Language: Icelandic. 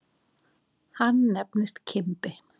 Hann nefndist Kimbi.